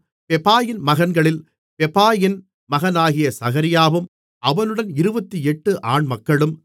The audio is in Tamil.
பெபாயின் மகன்களில் பெபாயின் மகனாகிய சகரியாவும் அவனுடன் 28 ஆண்மக்களும்